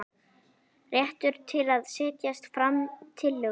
Réttur til að setja fram tillögu.